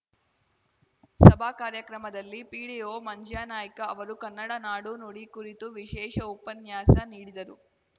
ಸಭಾ ಕಾರ್ಯಕ್ರಮದಲ್ಲಿ ಪಿಡಿಒ ಮಂಜ್ಯಾನಾಯ್ಕ ಅವರು ಕನ್ನಡ ನಾಡು ನುಡಿ ಕುರಿತು ವಿಶೇಷ ಉಪನ್ಯಾಸ ನೀಡಿದರು